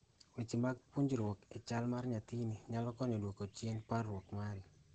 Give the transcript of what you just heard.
weche mag puonjruok e chal mar nyathini nyalo konyo duoko chien parruok mari